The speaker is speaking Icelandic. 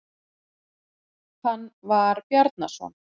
Hann var Bjarnason.